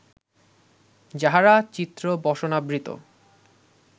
যাঁহারা চিত্রবসনাবৃত